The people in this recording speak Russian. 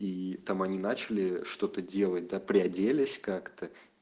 и там они начали что-то делать да приоделись как-то